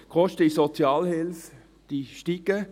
Die Kosten in der Sozialhilfe steigen.